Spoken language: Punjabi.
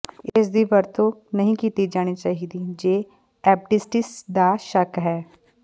ਇਸਦੀ ਵਰਤੋਂ ਨਹੀਂ ਕੀਤੀ ਜਾਣੀ ਚਾਹੀਦੀ ਜੇ ਐਪੈਂਡਿਸਿਟਿਸ ਦਾ ਸ਼ੱਕ ਹੈ